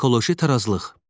Ekoloji tarazlıq.